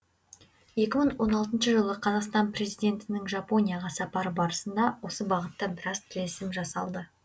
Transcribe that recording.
екі мың он алтыншы жылы қазақстан президентінің жапонияға сапары барысында осы бағытта біраз келісім жасалды